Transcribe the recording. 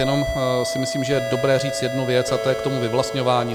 Jenom si myslím, že je dobré říct jednu věc a to je k tomu vyvlastňování.